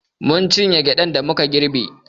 Mun cinye gyaɗan da muka girbe.